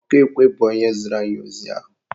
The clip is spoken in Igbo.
Ọkụ ekwe bụ onye ziri anyị ozi ahụ